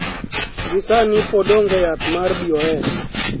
Gi sani pod ong'e yath mar BOS